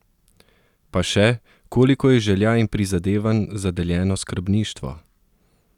Pa še, koliko je želja in prizadevanj za deljeno skrbništvo?